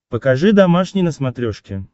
покажи домашний на смотрешке